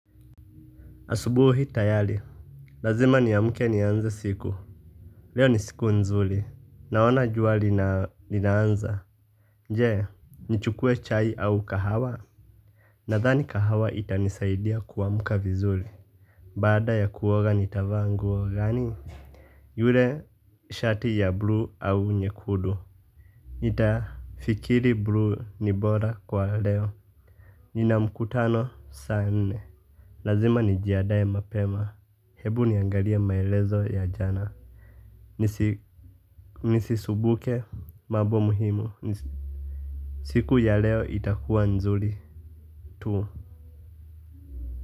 Asubuhi tayari lazima niamke nianze siku. Leo ni siku nzuri. Naona jua linaanza je nichukue chai au kahawa. Nadhani kahawa itanisaidia kuamka vizuri. Baada ya kuoga nitavaa nguo gani. Yule shati ya bluu au nyekundu. Nitafikiri bluu ni bora kwa leo. Nina mkutano saa nne. Lazima nijiandae mapema. Hebu niangalie maelezo ya jana. Nisisumbuke mambo muhimu. Siku ya leo itakuwa nzuri tu.